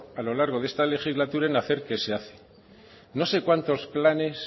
a lo largo de esta legislatura en hacer que se hace no sé cuántos planes